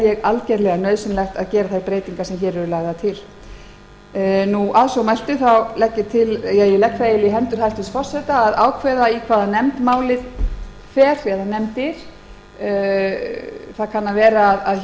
tel ég nauðsynlegt að gera þær breytingar sem hér eru lagðar til að svo mæltu legg ég í hendur hæstvirts forseta að ákveða til hvaða nefndar eða nefnda málið fer hér kann að vera um